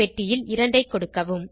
பெட்டியில் 2 ஐ கொடுக்கவும்